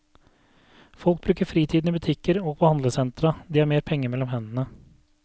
Folk bruker fritiden i butikker og på handlesentra, de har mer penger mellom hendene.